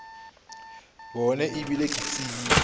bone e bile ke tsebile